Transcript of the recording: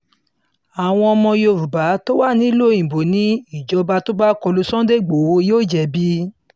àwọn ọmọ yorùbá tó wà nílùú òyìnbó ni ìjọba tó bá kọ lu sunday igbodò yóò jẹ̀bi